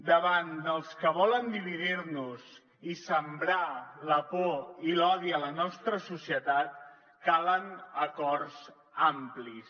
davant dels que volen dividir nos i sembrar la por i l’odi a la nostra societat calen acords amplis